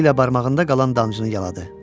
Dili ilə barmağında qalan dancıını yaladı.